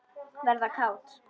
Verða kát.